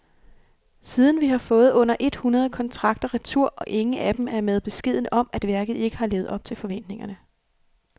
Siden har vi fået under et hundrede kontrakter retur, og ingen af dem er med beskeden om, at værket ikke har levet op til forventningerne.